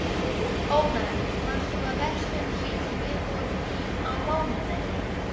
Ónar, manstu hvað verslunin hét sem við fórum í á mánudaginn?